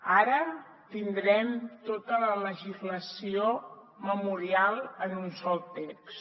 ara tindrem tota la legislació memorial en un sol text